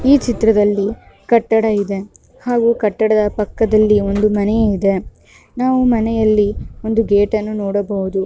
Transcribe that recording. ಈ ಚಿತ್ರದಲ್ಲಿ ಕಟ್ಟಡ ಇದೆ ಹಾಗೂ ಕಟ್ಟಡದ ಪಕ್ಕದಲ್ಲಿ ಒಂದು ಮನೆ ಇದೆ ನಾವು ಮನೆಯಲ್ಲಿ ಒಂದು ಗೇಟ್ ಅನ್ನು ನೋಡಬಹುದು.